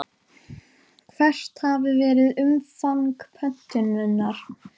Hvert hafi verið umfang pöntunar?